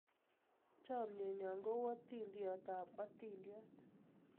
Chamienyo ko u atindiot ab atindiot